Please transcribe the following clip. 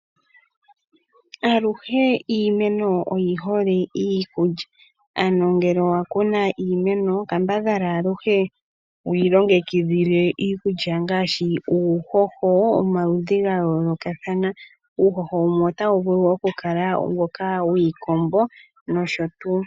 Aluhe iimeno oyi hole iikulya, ano ngele owa kuna iimeno kambadhala aluhe wu yi longekidhile, iikulya ngaashi uuhoho womaludhi ga yoolokathana. Uuhoho wumwe otawu vulu okukala mboka wiikombo nosho tuu.